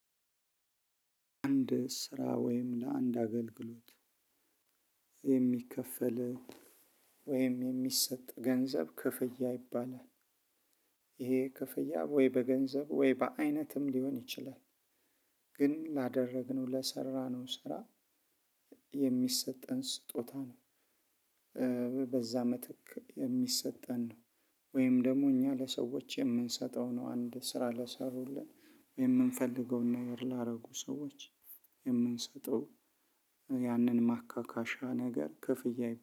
አንድ ስራ ወይም ለአንድ አገልግሎት የሚከፈል ወይም የሚሰጥ ገንዘብ ክፍያ ይባላል። ይሄ ክፍያ ወይ በገንዘብ ወይ በአይነትም ሊሆን ይችላል። ግን ላደረግነው ለሰራነው ስራ እሚሰጠን ስጦታ ነው። በዛ ምትክ እሚሰጠን ነው። ወይም ደግሞ እኛ ለሰወች እምንሰጠው ነው አንድን ስራ ለሰሩልን ያንን ማካካሻ ነገር ክፍያ